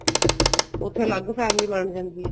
ਉੱਥੇ ਅਲੱਗ family ਬਣ ਜਾਂਦੀ ਏ